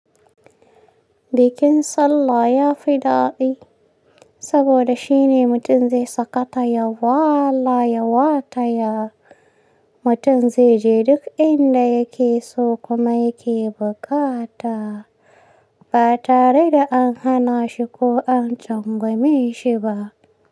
Bikin sallah ya fi daɗi saboda shine mutum zai sakata, ya wala, ya wataya. Mutum zai je duk inda yake so kuma yake buƙata ba tare da an hana shi ko an cangwame shi ba.